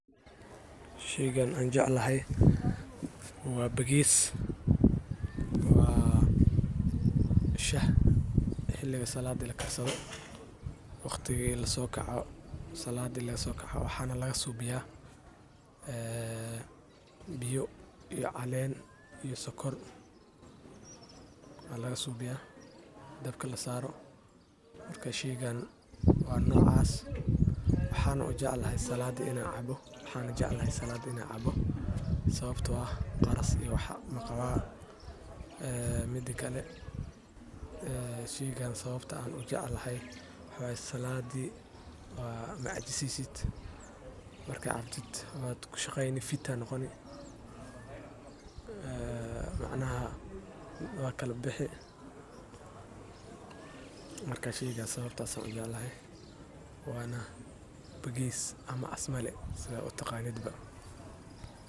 Sheygani aan jeclahay waa bigees wa shah xiliga salaadi lakarsado waxaana laga suubiya biyo iyo caleen iyo sokor ayaa laga subiya waa noocas waxaan jeclahay salaadi inaan cabo waxaa waye macajiseysid waa shaqeyni waana bigees.